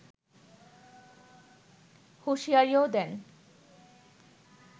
হুঁশিয়ারিও দেন